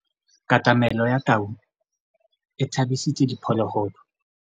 Katamêlô ya tau e tshabisitse diphôlôgôlô.